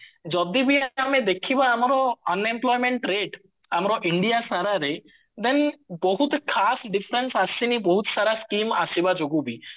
ଯଦି ବି ଆମେ ଦେଖିବା ଆମର unemployment rate ଆମର india ସାରାରେ then ବହୁତ ଖାସ ବହୁତ ସାରା scheme ଆସିବା ଯୋଗୁ ବି